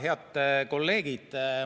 Head kolleegid!